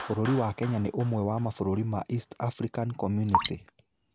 Bũrũri wa Kenya nĩ ũmwe wa mabũrũri ma East African Community (EAC).